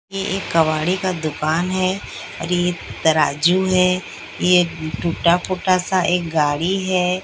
ये एक कबाड़ी का दुकान है और ये तराजू है ये टूटा टूटा सा एक गाड़ी है।